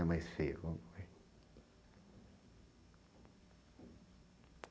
E a mais feia, qual é?